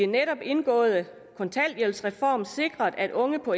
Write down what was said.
netop indgåede kontanthjælpsreform sikret at unge på